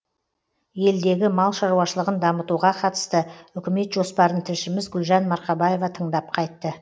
елдегі мал шаруашылығын дамытуға қатысты үкімет жоспарын тілшіміз гүлжан марқабаева тыңдап қайтты